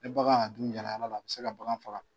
Ne bagan y'a dun yaala yalaa a bɛ se ka bagan faga.